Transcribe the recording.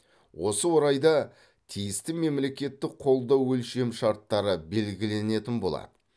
осы орайда тиісті мемлекеттік қолдау өлшемшарттары белгіленетін болады